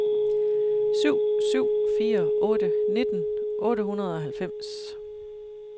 syv syv fire otte nitten otte hundrede og halvfems